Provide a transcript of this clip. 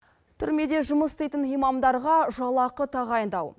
түрмеде жұмыс істейтін имамдарға жалақы тағайындау